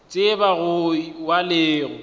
tseba go wa le go